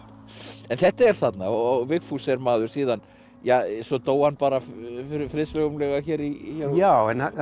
en þetta er þarna og Vigfús er maður síðan ja svo dó hann bara friðsamlega hér já en það var